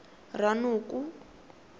ranoko